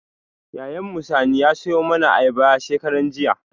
Yayan mu Sani ya sayo mana ayaba shekaran jiya